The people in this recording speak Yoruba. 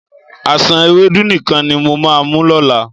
Àsán ewédú nìkan ni mo máa mu lọ́la.